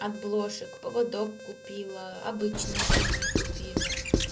от блошек поводок купила обычный ошейник купила